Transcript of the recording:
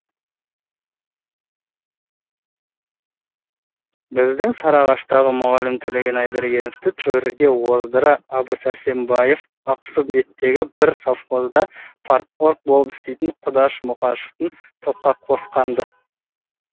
біздің сарыағаштағы мұғалім төлеген айбергеновті төрге оздырса әбу сәрсенбаев ақсу беттегі бір совхозда парторг болып істейтін құдаш мұқашевты топқа қосқан ды